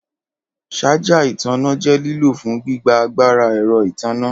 Ṣaja itanna jẹ lilo fun gbigba agbara ẹrọ itanna.